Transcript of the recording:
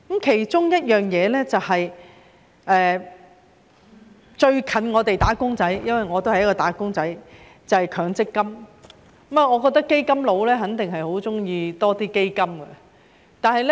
其中一樣最接近我們"打工仔"的——我也是一名"打工仔"——便是強制性公積金，我覺得"基金佬"肯定十分喜歡設立更多基金。